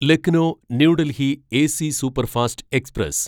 Lucknow New Delhi AC superfast express